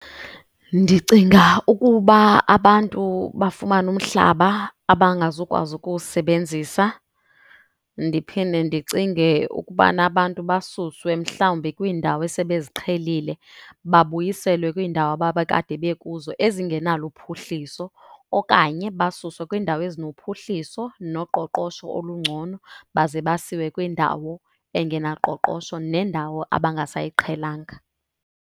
Ndicinga ukuba abantu bafumane umhlaba abangazukwazi ukuwusebenzisa. Ndiphinde ndicinge ukubana abantu basuswe mhlawumbi kwindawo esebeziqhelile babuyiselwe kwiindawo ababekade bekuzo ezingenalo uphuhliso. Okanye basuswe kwiindawo ezinophuhliso noqoqosho olungcono, baze basiwe kwindawo engenaqoqosho nendawo abangasayiqhelanga.